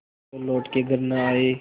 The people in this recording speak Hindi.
जो लौट के घर न आये